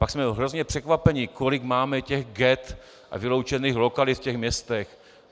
Pak jsme hrozně překvapeni, kolik máme těch ghett a vyloučených lokalit v těch městech.